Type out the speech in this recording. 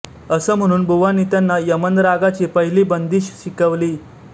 असं म्हणून बुवांनी त्यांना यमन रागाची पहिली बंदिश शिकवली